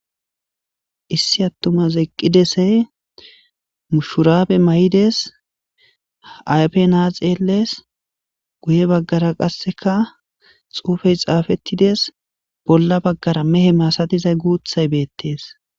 Issi attumaz eqqidese mushuraabe may'ides aype na xeeles guye baggara qasseka xuufey xaafettides bolla baggara mehe masatizay guuthay beettes.